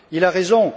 Il a raison.